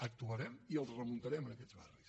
actuarem i els remuntarem aquests barris